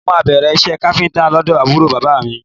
Mo máa bẹ̀rẹ̀ iṣẹ́ káfíńtà lọ́dọ̀ àbúrò bàbá mi